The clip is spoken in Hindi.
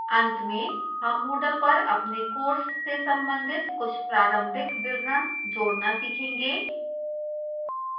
अंत में हम moodle पर अपने course से संबंधित कुछ प्रारंभिक विवरण जोड़ना सीखेंगे